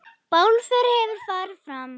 Bálför hefur farið fram.